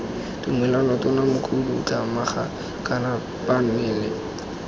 tumelelo tona mokhuduthamaga kana phanele